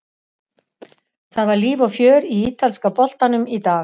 Það var líf og fjör í ítalska boltanum í dag.